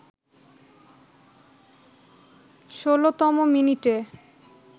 ১৬তম মিনিটে